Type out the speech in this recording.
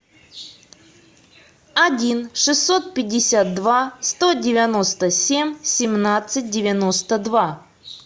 один шестьсот пятьдесят два сто девяносто семь семнадцать девяносто два